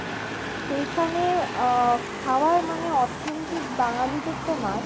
সেইখানে আ~ খাবার মানে authentic বাঙালিদের তো মাছ